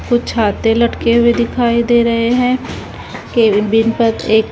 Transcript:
कुछ छाते लटके हुए दिखाई दे रहे हैं केबिन पर एक--